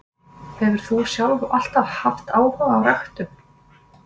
Hefur þú sjálf alltaf haft áhuga á ræktun?